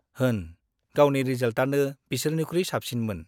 होन, गावनि रिजाल्टआनो बिसोरनिखुइ साबसिनमोन।